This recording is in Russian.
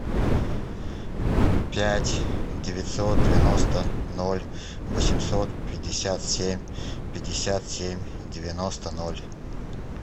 пять девятьсот девяносто ноль восемьсот пятьдесят семь пятьдесят семь девяносто ноль